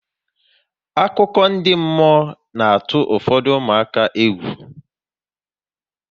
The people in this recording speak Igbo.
Akụkọ ndị mmụọ na atụ ụfọdụ ụmụaka egwu